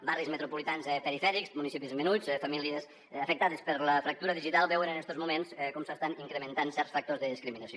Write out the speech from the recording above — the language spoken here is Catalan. barris metropolitans perifèrics municipis menuts famílies afectades per la fractura digital veuen en estos moments com s’estan incrementant certs factors de discriminació